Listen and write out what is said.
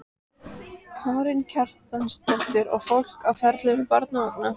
Karen Kjartansdóttir: Og fólk á ferli með barnavagna?